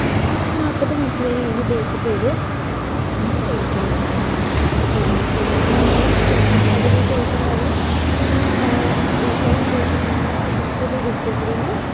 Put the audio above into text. നാപ്പത് minute വരെയാണ് bake ചെയ്ത എടുക്കേണ്ടത് എ എന്നിട് നമ്മള് അതിനുശേഷം അത് ഒന്ന് എ വെച്ചെനുശേഷം നമ്മള് നമുക്കിത് whipping cream